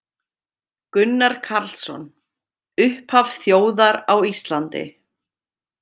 Gunnar Karlsson: Upphaf þjóðar á Íslandi